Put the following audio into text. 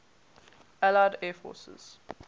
allied air forces